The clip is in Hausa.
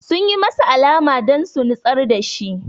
Sun yi masa alama don su nitsar da shi